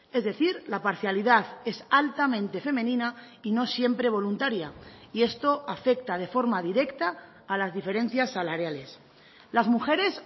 es decir la parcialidad es altamente femenina y no siempre voluntaria y esto afecta de forma directa a las diferencias salariales las mujeres